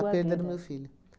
vida. A perda do meu filho.